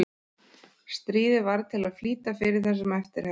Stríðið varð til að flýta fyrir þessum eftirhermum.